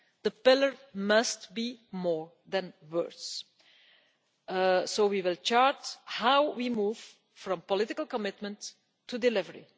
me. The Pillar must be more than words, so we will chart how we move from political commitment to delivery.